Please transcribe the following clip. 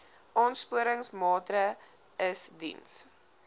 aansporingsmaatre ls diens